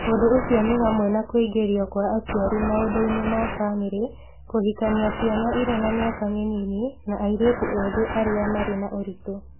Ũndũ ũcio nĩ hamwe na kũingĩrio kwa aciari maũndũ-inĩ ma famĩlĩ, kũhikania ciana irĩ na mĩaka mĩnini, na airĩtu ethĩ arĩa marĩ na ũritũ.